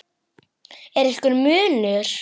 Er einhver munur?